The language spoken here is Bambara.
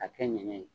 A kɛ ɲɛɲɛ ye